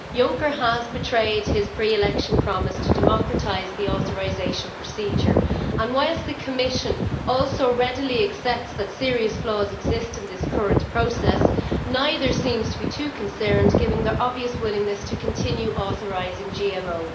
Juncker has betrayed his pre election promise to democratise the authorisation procedure, and whilst the Commission also readily accepts that serious flaws exist in this current process, neither seems to be too concerned, given their obvious willingness to continue authorising GMOs.